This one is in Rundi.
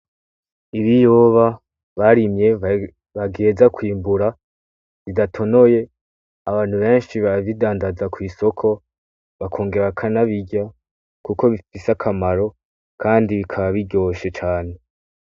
Ibiyoba barimye bategerezwa kwimbura bidatonoye. Abantu benshi barabidandaza ku isoko bakongera bakanabirya kuko bifise akamaro kandi bikaba biryoshe cane.